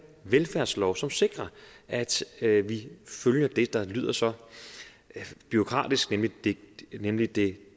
velfærdslov som sikrer at at vi følger det der lyder så bureaukratisk nemlig det nemlig det